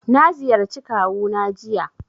Na ziyarci kawu na jiya